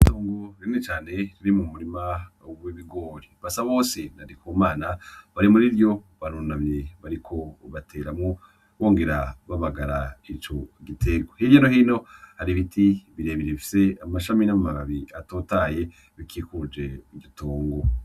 Itongo rinini cane riri mu murima w'ibigori, Basabose na Ndikumana barimuriryo barunamye bariko bateramwo bongera babagara ico gitegwa, hirya no hino hari ibiti birebire bifise amashami n'amababi atotahaye bikikuje iryotongo.